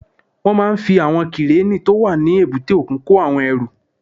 Wọ́n máa fi àwọn kírénì tó wà ní èbúté òkun kó àwọn ẹrù